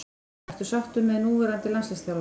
Ertu sáttur með núverandi landsliðsþjálfara?